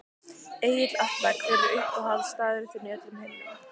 Egill Atla Hver er uppáhaldsstaðurinn þinn í öllum heiminum?